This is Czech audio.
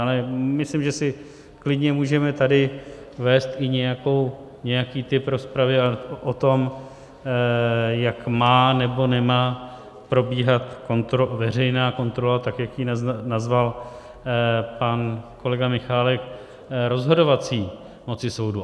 Ale myslím, že si klidně můžeme tady vést i nějaký typ rozpravy o tom, jak má nebo nemá probíhat veřejná kontrola, tak jak ji nazval pan kolega Michálek, rozhodovací moci soudu.